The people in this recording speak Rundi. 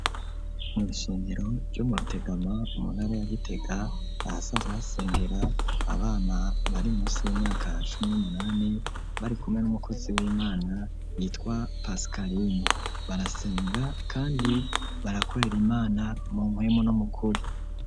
Mw’ishengero ryo mu rutegama muntara ya gitega ahasanzwe hasengera abana bari munsi y'imyaka cumi n'umunani barikumwe n'umukozi w'imana yitwa pasikarine, barasenga kandi barakorera imana mu mpwemu nu mukuri.